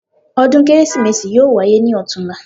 Ọdún Kérésìmesì yóò wáyé ní ọ̀tunla